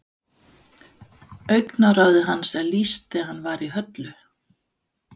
Augnaráði hans er lýst þegar hann var í höllu